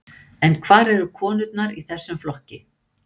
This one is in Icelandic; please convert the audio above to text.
En hvar eru konurnar í þessum flokki?